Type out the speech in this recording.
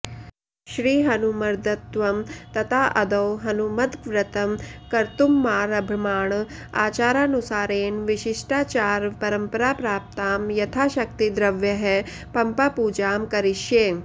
श्रीहनुमद्वर्तम् तत्राऽऽदौ हनुमद्व्रतं कर्त्तुमारभमाण आचारानुसारेण विशिष्टाचारपरम्पराप्राप्तां यथाशक्तिद्रव्यैः पम्पापूजां करिष्ये